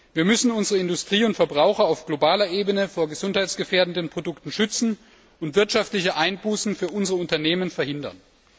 Wir müssen unsere Industrie und Verbraucher auf globaler Ebene vor gesundheitsgefährdenden Produkten schützen und wirtschaftliche Einbußen für unsere Unternehmen verhindern.